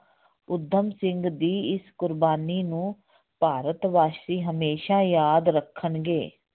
ਊਧਮ ਸਿੰਘ ਦੀ ਇਸ ਕੁਰਬਾਨੀ ਨੂੰ ਭਾਰਤ ਵਾਸੀ ਹਮੇਸ਼ਾ ਯਾਦ ਰੱਖਣਗੇ।